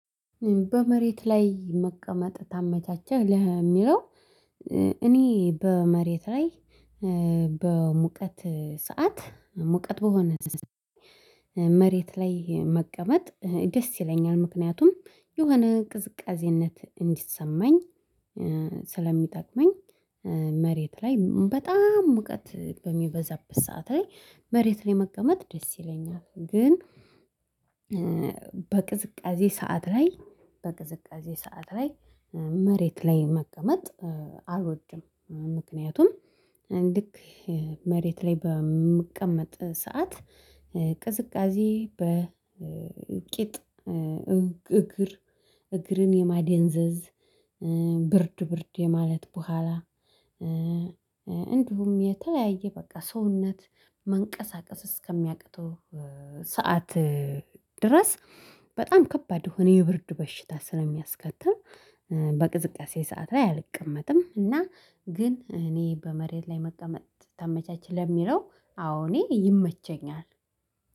በመሬት ላይ መቀመጥ ታመቻቸህ ለሚለው? እኔ በመሬት ላይ በሙቀት ሰዓት ሙቀት በሆነ መሬት ላይ መቀመጥ ደስ ይለኛል ምክንያቱም የሆነ ቅዝቃዜነት እንዲሰማኝ ስለሚጠቅመኝ መሬት ላይ በጣም ሙቀት በሚበዛበት ሰዓት ላይ መሬት ላይ መቀመጥ ደስ ይለኛል። ግን በቅዝቃዜ ሰዓት ላይ በቅዝቃዜ ሰዓት ላይ መሬት ላይ መቀመጥ አልወድም። ምክንያቱም ልክ መሬት ላይ በምቀመጥ ሰዓት ቅዝቃዜ በቂጥ እግር እግርን የማደንዘዝ ብርድ ብርድ የማለት በኋላ። እንዲሁም የተለያየ በቃ ሰውነት መንቀሳቀስ እስከሚያቅተው ሰዓት ድረስ በጣም ከባድ ሆነ የብርድ በሽታ ስለሚያስከትል በቅዝቃዜ ሰዓት ላይ አልቀመጥም። እና ግን እኔ በመሬት ላይ መቀመጥ ተመቻች ለሚለው አዎ እኔ ይመቸኛል።